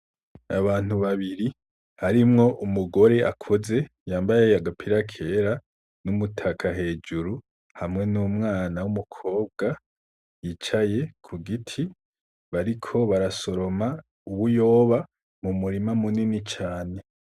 Abantu babiri harimwo umugore akuze yambaye agapira kera n'umutaka hejuru hamwe n'umwana w'umukobwa yicaye kugiti bariko barasoroma bariko barasoroma ibiyoba mu murima munini cane.